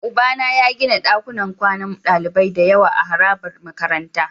Ubana ya gina dakunan kwanan dalibai da yawa a harabar makarantara.